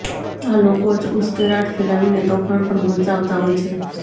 આ લોકો જ ઉશ્કેરાટ ફેલાવીને તોફાન પણ મચાવતા હોય છે